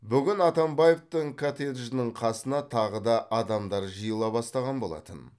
бүгін атамбаевтың коттеджінің қасына тағы да адамдар жиыла бастаған болатын